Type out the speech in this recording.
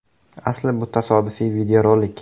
Asli bu tasodifiy videorolik.